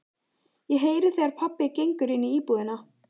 Ég heyri þegar pabbi gengur inní íbúðina.